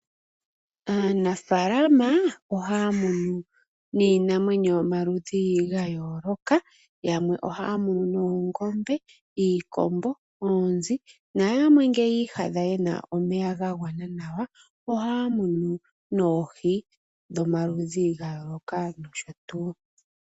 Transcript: Aanafaalama oha ya munu iinamwenyo yomaludhi ga yooloka. Yamwe oha ya munu oongombe , iikombo noonzi, nayamwe ngele ya iyadha ye na omeya ga gwana nawa oha ya munu oohi dhomaludhi ga yooloka nosho tuu.